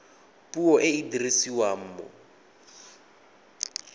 puo e e dirisiwang mo